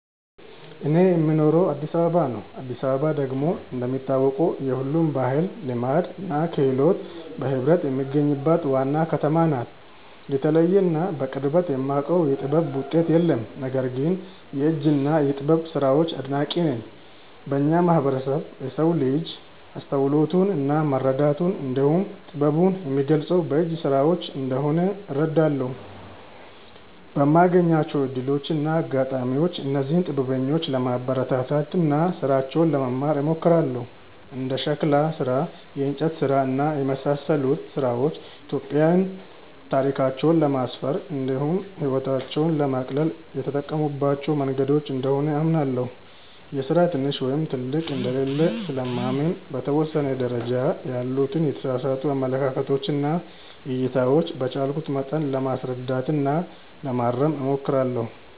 እኔ የምኖረው አዲስ አበባ ነው። አዲስ አበባ ደግሞ እንደሚታወቀው የሁሉም ባህል፣ ልማድ እና ክህሎት በህብረት የሚገኙባት ዋና ከተማ ናት። የተለየ እና በቅርበት የማውቀው የጥበብ ውጤት የለም። ነገር ግን የእጅ እና የጥበብ ስራዎች አድናቂ ነኝ። በእኛ ማህበረሰብ የሰው ልጅ አስተውሎቱን እና መረዳቱን እንዲሁም ጥበቡን የሚገልፀው በእጅ ስራዎች እንደሆነ እረዳለሁ። በማገኛቸው እድሎች እና አጋጣሚዎችም እነዚህን ጥበበኞች ለማበረታታት እና ስራቸውን ለመማር እሞክራለሁ። እንደ የሸክላ ስራ፣ የእንጨት ስራ እና የመሳሰሉት ስራዎች ኢትዮጵያዊያን ታሪካቸውን ለማስፈር እንዲሁም ህይወታቸውን ለማቅለል የተጠቀሙባቸው መንገዶች እንደሆኑ አምናለሁ። የስራ ትንሽ ወይም ትልቅ እንደሌለው ስለማምን በተወሰነ ደረጃ ያሉትን የተሳሳቱ አመለካከቶች እና እይታዎች በቻልኩት መጠን ለማስረዳት እና ለማረም እሞክራለሁ።